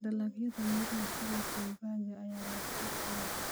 Dalagyada miraha sida babayga ayaa leh suuq weyn.